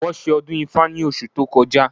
Wọ́n ṣe ọdún ifá ní oṣù tó kọjá